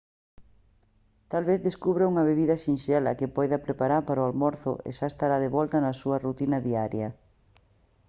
tal vez descubra unha bebida sinxela que poida preparar para o almorzo e xa estará de volta na súa rutina diaria